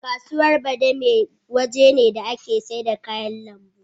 Kasuwa Badime waje ne da ake saida kayan lambu.